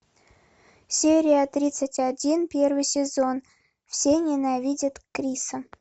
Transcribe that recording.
серия тридцать один первый сезон все ненавидят криса